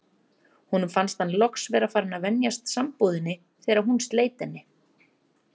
Honum fannst hann loks vera farinn að venjast sambúðinni þegar hún sleit henni.